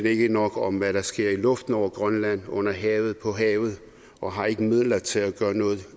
ikke nok om hvad der sker i luften over grønland under havet på havet og har ikke midler til at gøre noget